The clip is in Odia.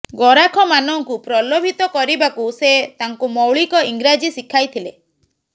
ଗରାଖମାନଙ୍କୁ ପ୍ରଲୋଭିତ କରିବାକୁ ସେ ତାଙ୍କୁ ମୌଳିକ ଇଂରାଜୀ ଶିଖାଇ ଥିଲେ